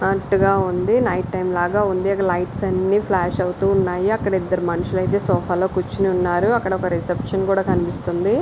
అడ్డుగా ఉంది. Night time లాగా ఉంది. అది లైట్స్ అన్ని ఫ్లాష్ అవుతూ ఉన్నాయి. అక్కడ ఇద్దరు మనుషులు అయితే సోఫా లో కూర్చున్నారు. అక్కడ ఒక రిసెప్షన్ కూడా కనిపిస్తుంది.